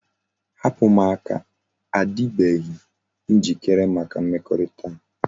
Hapu m aka! a dibeghi njikere maka mmekorita a